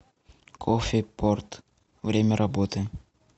кофепорт время работы